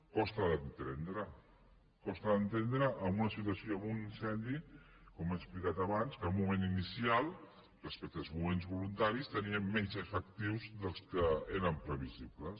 costa d’entendre costa d’entendre en una situació amb un incendi com ha explicat abans que al moment inicial respecte als bombers voluntaris tenien menys efectius dels que eren previsibles